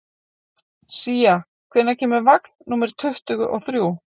Sía, hvenær kemur vagn númer tuttugu og þrjú?